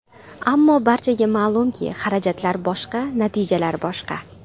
Ammo barchaga ma’lumki, xarajatlar boshqa, natijalar boshqa.